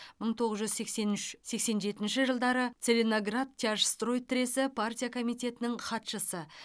мың тоғыз жүз сексен үш сексен жетінші жылдары целиноградтяжстрой тресі партия комитетінің хатшысы